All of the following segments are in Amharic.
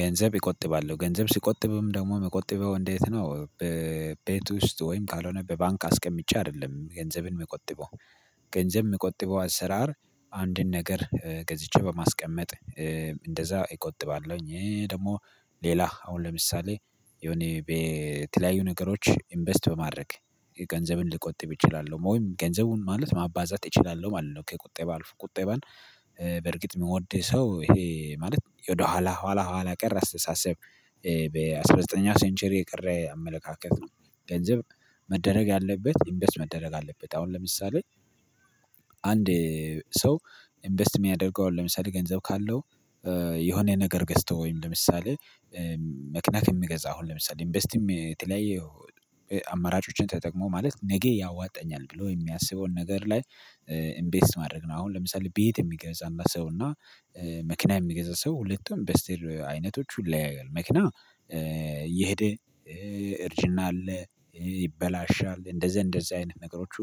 ገንዘብ ይቆጥባለው ገንዘብ ሲቆጥብም ደግሞ መቆጥበው እንዴት ነው በቤቱ ውስጥ ወይም ካልሆነ በባንክ አስቀምጫ አይደለም ገንዘብን መቆጥበው። ገንዘብ መቆጥበው አሰራር አንድን ነገር ገዝቼ በማስቀመጥ። እንደዛ እቆጥባለሁኝ ይሄ ደግሞ ሌላ አሁን ለምሳሌ የሆነ በተለያዩ ነገሮች ኢንቨስት በማድረግ ገንዘብን ልቆጥብ እችላለሁ ወይም ገንዘቡን ማለት ማባዛት እችላለሁ ማለት ነው። ከቁጠባ አልፎ ቁጠባን በርግጥ የምወደው ሰው ይሄ ማለት ወደኋላ ኋላ ኋላ ቀር አስተሳሰብ። በአሥራ ዘጠኝ ሴንቸሪ የቀረ አመለካከት ነው። ገንዘብ መደረግ ያለበት ኢንቨስት መደረግ አለበት። አሁን ለምሳሌ አንድ ሰው ኢንቨስት የሚያደርገው ለምሳሌ ገንዘብ ካለው። የሆነ ነገር ገዝተው ወይም ለምሳሌ መክና ከምገዛ አሁን ለምሳሌ ኢንቨስትም የተለያየ አማራጮችን ተጠቅሞ ማለት ነገ ያዋጣኛል ብሎ የሚያስበውን ነገር ላይ ኢንቨስት ማድረግ ነው። አሁን ለምሳሌ ቤት የሚገዛና ሰው እና መክና የሚገዛ ሰው ሁለቱም በስቴል አይነቶች ሁሉ ያለያያሉ። መኪና እየሄደ እርጅና አለ ይበላሻል እንደዛ እንደዛ አይነት ነገሮቹ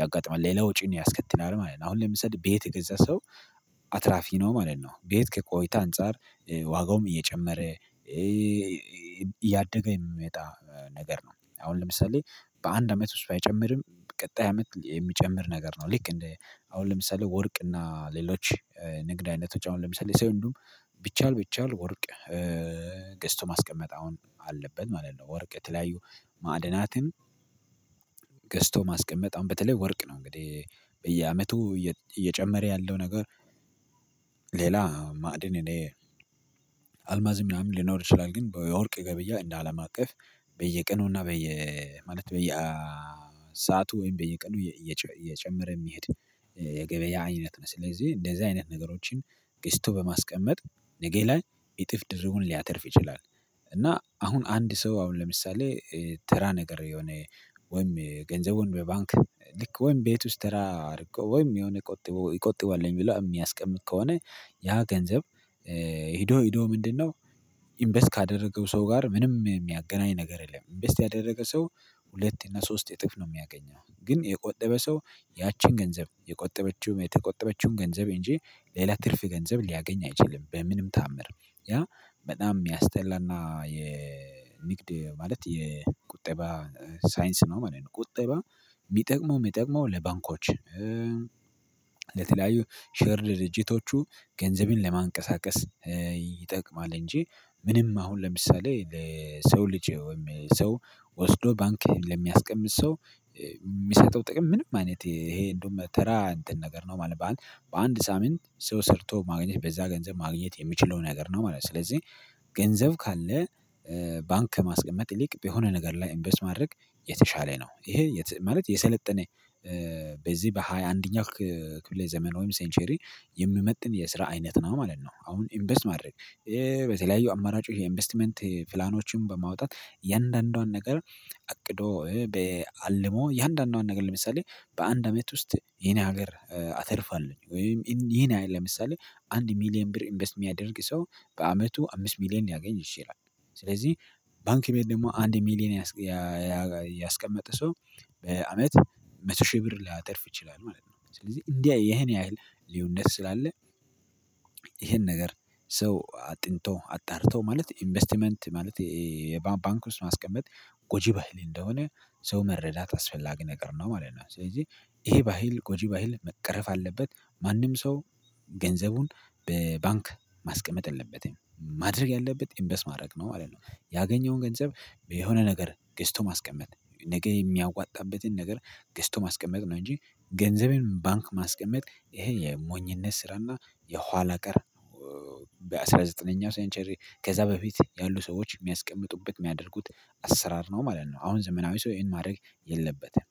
ያጋጥማል ሌላ ወጪን ያስከትላል ማለት ነው። አሁን ለምሰሌ ቤት የገዛ ሰው አትራፊ ነው ማለት ነው። ቤት ከቆይታ አንፃር ዋጋውም እየጨመረ እያደገ የሚመጣ ነገር ነው። አሁን ለምሳሌ በአንድ አመት ውስጥ ባይጨምርም ቀጣይ አመት የሚጨምር ነገር ነው። ልክ እንደ አሁን ለምሳሌ ወርቅ እና ሌሎች ንግድ አይነቶች አሁን ለምሳሌ ሰልዱ ቢቻል ቢቻል ወርቅ ገዝቶ ማስቀመጥ አሁን አለበት ማለት ነው። ወርቅ የተለያዩ ማዕድናትን ገዝቶ ማስቀመጥ አሁን በተለይ ወርቅ ነው እንግዲህ በየአመቱ እየጨመረ ያለው ነገር። ሌላ ማዕድን እኔ አልማዝ ምናምን ሊኖር ይችላል ግን በወርቅ ገብያ እንደ አለም አቀፍ በየቀኑና በየ ማለት በየሰአቱ ወይም በየቀኑ እየጨመረ የሚሄድ የገበያ አይነት ነው። ስለዚህ እንደዚህ አይነት ነገሮችን ገዝቶ በማስቀመጥ ነገ ላይ እጥፍ ድርቡን ሊያተርፍ ይችላል። እና አሁን አንድ ሰው አሁን ለምሳሌ ተራ ነገር የሆነ ወይም ገንዘቡን በባንክ ልክ ወይም ቤት ውስጥ ተራርቆ ወይም የሆነ ቁጥብ ይቆጥበዋል ብለው የሚያስቀምጥ ከሆነ ያ ገንዘብ ሄዶ ሄዶ ምንድነው? ኢንቨስት ካደረገው ሰው ጋር ምንም የሚያገናኝ ነገር የለም። ኢንቨስት ያደረገ ሰው ሁለት እና ሶስት እጥፍ ነው የሚያገኘው። ግን የቆጠበ ሰው ያቺን ገንዘብ የቆጠበችውም የተቆጠበችውም ገንዘብ እንጂ ሌላ ትርፍ ገንዘብ ሊያገኝ አይችልም። በምንም ተአምር ያ በጣም የሚያስጠላና የንግድ ማለት የቁጠባ ሳይንስ ነው ማለት ነው። ቁጠባ የሚጠቅመው የሚጠቅመው ለባንኮች ለተለያዩ ሼር ድርጅቶቹ ገንዘቤን ለማንቀሳቀስ ይጠቅማል። እንጂ ምንም አሁን ለምሳሌ ለሰው ልጅ ወይም ሰው ወስዶ ባንክህን ለሚያስቀምጥ ሰው የሚሰጠው ጥቅም ምንም አይነት ይሄ እንደውም ተራ እንትን ነገር ነው። ማለት በአንድ ሳምንት ሰው ሰርቶ ማግኘት በዛ ገንዘብ ማግኘት የሚችለው ነገር ነው ማለት ነው። ስለዚህ ገንዘብ ካለ ባንክ ከማስቀመጥ ይልቅ የሆነ ነገር ላይ እምበስ ማድረግ የተሻለ ነው። ይሄ ማለት የሰለጠነ በዚህ በሃያ አንደኛው ክፍለ ዘመን ወይም ሴንቸሪ የምመጥን የስራ አይነት ነው ማለት ነው። አሁን ኢንቨስት ማድረግ በተለያዩ አማራጩ ይሄ ኢንቨስትመንት ፕላኖችን በማውጣት የአንዳንዷን ነገር አቅዶ በአልሞ የአንዳንዷን ነገር ለምሳሌ በአንድ አመት ውስጥ የኔ ሀገር አተርፋለሁኝ ወይም ይሄን ለምሳሌ አንድ ሚሊየን ብር ኢንቨስት የሚያደርግ ሰው በአመቱ አምስት ሚሊየን ያገኝ ይችላል። ስለዚህ ባንክ ቤት ደግሞ አንድ ሚሊየን ያስቀመጠ ሰው በአመት መቶ ሺህ ብር ላይ አተርፍ ይችላል ማለት ነው። ስለዚህ እንዲህ የኔ ሀይል ሊውነት ስላለ ይሄን ነገር ሰው አጥንቶ አጣርቶ ማለት ኢንቨስትመንት ማለት የባንክ ውስጥ ማስቀመጥ ጎጂ ባህል እንደሆነ ሰው መረዳት አስፈላጊ ነገር ነው ማለት ነው። ስለዚህ ይሄ ባህል ጎጂ ባህል መቅረፍ አለበት ማንም ሰው ገንዘቡን በባንክ ማስቀመጥ የለበትም ማድረግ ያለበት ኢንሸስ ማድረግ ነው ማለት ነው። ያገኘውን ገንዘብ የሆነ ነገር ገስቶ ማስቀመጥ ነገ የሚያዋጣበትን ነገር ገዝቶ ማስቀመጥ ነው። እንጂ ገንዘቤን ባንክ ማስቀመጥ ይሄ የሞኝነት ስራና የኋላ ቀር በአሥራ ዘጠነኛው ሳይንቸሪ ከዛ በፊት ያሉ ሰዎች የሚያስቀምጡበት የሚያደርጉት አሰራር ነው ማለት ነው። አሁን ዘመናዊ ሰው ይሄን ማድረግ የለበትም።